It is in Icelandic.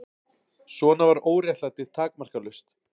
Svona var óréttlætið takmarkalaust.